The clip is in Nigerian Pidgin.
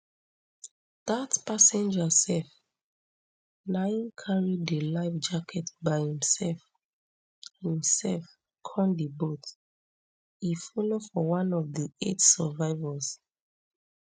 dat passenger sef na im carry di life jacket by imsef imsef come di boat e follow for one of di eight survivors